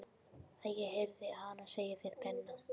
Ég heyrði hana segja við Binna